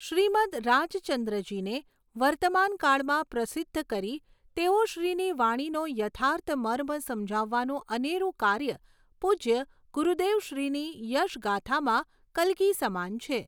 શ્રીમદ્ રાજચંદ્રજીને વર્તમાનકાળમાં પ્રસિદ્ધ કરી તેઓશ્રીની વાણીનો યથાર્થ મર્મ સમજાવવાનું અનેરું કાર્ય પૂજ્ય ગુરુદેવશ્રીની યશગાથામાં કલગી સમાન છે.